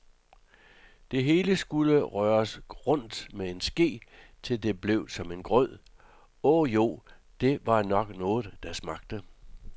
Det hele skulle røres rundt med en ske, til det blev som en grød, åh jo, det var nok noget, der smagte.